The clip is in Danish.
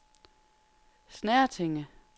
Snertinge